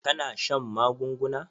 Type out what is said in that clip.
Ka na shan magunguna?